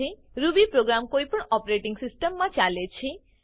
Ruby programme કોઈપણ operating સિસ્ટમમાં ચાલે છે